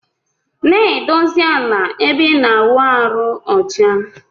Na edosi ala ebe ina awụ arụ ọcha.